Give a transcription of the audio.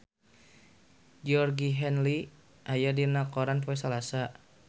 Georgie Henley aya dina koran poe Salasa